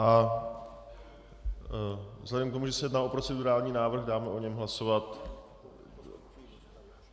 A vzhledem k tomu, že se jedná o procedurální návrh, dám o něm hlasovat.